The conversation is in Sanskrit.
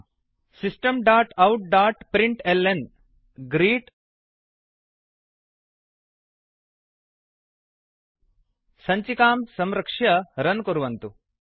systemoutप्रिंटल्न system dot out dot print l n ग्रीट् सञ्चिकां संरक्ष्य रन् कुर्वन्तु